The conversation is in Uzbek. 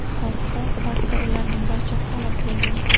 Hodisa oqibatida ularning barchasi halok bo‘lgan.